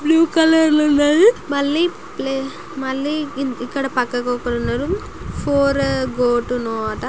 Blue colour లు ఉన్నాయి మళ్లి మళ్ళి ఇక్కడ పక్కకు ఒకరు ఉన్నారు. ఫోర్ --